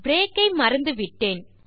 break ஐ மறந்துவிட்டோம்